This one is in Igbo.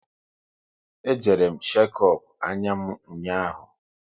E jere m shekop anya m ụnyaahụ